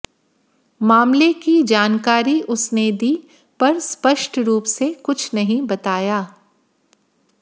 मामले की जानकारी उसने दी पर स्पष्ट रूप से कुछ नहीं बताया